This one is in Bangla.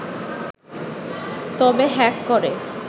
তবে হ্যাক করে